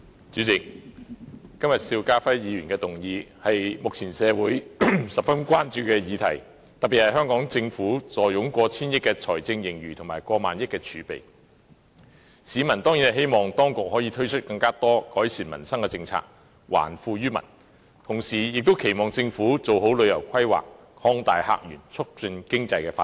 主席，今天邵家輝議員提出的議案是目前社會十分關注的議題，特別是香港政府坐擁過千億元財政盈餘和過萬億元儲備，市民當然希望當局可以推出更多改善民生的政策，還富於民，同時亦期望政府做好旅遊規劃，擴大客源，促進經濟發展。